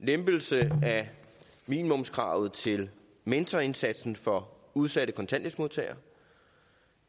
lempelse af minimumskravet til mentorindsatsen for udsatte kontanthjælpsmodtagere